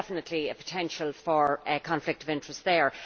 There is definitely a potential for conflict of interest there.